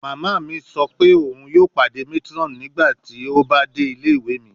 Mama mi sọ pe oun yoo pade matron nigbati o ba de ile-iwe mi